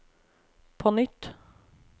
på nytt